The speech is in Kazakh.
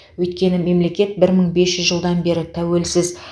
өйткені мемлекет бір мың бес жүз жылдан бері тәуелсіз